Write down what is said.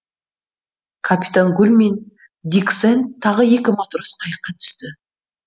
капитан гуль мен дик сэнд тағы екі матрос қайыққа түсті